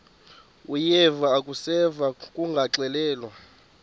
uyeva akuseva ngakuxelelwa